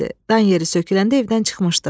Dan yeri söküləndə evdən çıxmışdım.